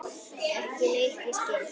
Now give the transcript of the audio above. Ekki neitt ég skil.